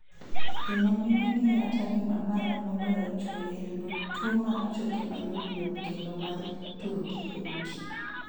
Joma mine nie atari ma malo moloyo chuo e yudo tuo mar choke mayomyom kendo ma turgi yot.